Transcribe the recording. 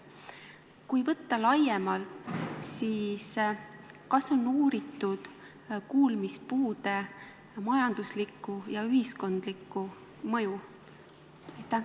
Kui võtta laiemalt, siis kas on uuritud kuulmispuude majanduslikku ja ühiskondlikku mõju?